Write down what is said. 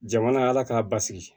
Jamana y'a la k'a basigi